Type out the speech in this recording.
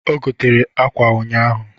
O gotere akwa ụnyaahụ